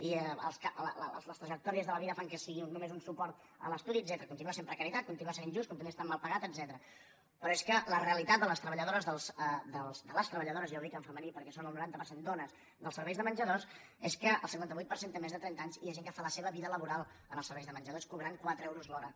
i les trajectòries de la vida fan que sigui només un suport a l’estudi etcètera continua sent precarietat continua sent injust continua estant mal pagat etcètera però és que la realitat de les treballadores de les treballadores ja ho dic en femení perquè són el noranta per cent dones dels serveis de menjadors és que el cinquanta vuit per cent té més de trenta anys i hi ha gent que fa la seva vida laboral en els serveis de menjadors i cobren quatre euros l’hora